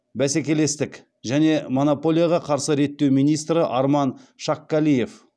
бәсекелестік және монополияға қарсы реттеу министрі арман шаккалиев